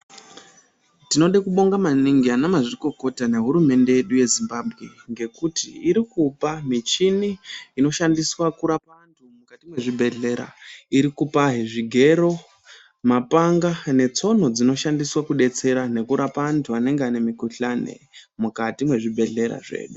Tinode kubonga maningi anamazvikokota nehurumende yeZimbabwe ngekuti irikupa michini inishandiswa kurapa antu mukati mwezvibhedhleya irikupahe zvigero mapanga netsono dzinoshandswa kudetsera nekurapa antu anenge ane mikuhlani mukati mwezvibhedhleya zvedu.